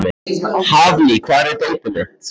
Hafný, hvar er dótið mitt?